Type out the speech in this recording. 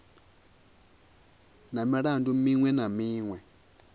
na milandu miṅwe na miṅwe